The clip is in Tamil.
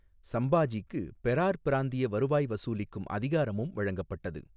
சம்பாஜிக்கு பெரார் பிராந்திய வருவாய் வசூலிக்கும் அதிகாரமும் வழங்கப்பட்டது.